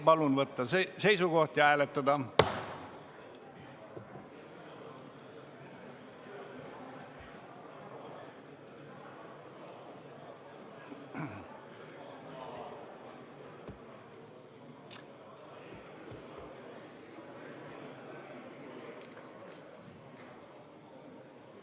Palun võtta seisukoht ja hääletada!